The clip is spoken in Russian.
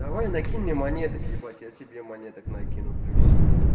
давай найди мне монеток е я тебе монеток накину плюсиками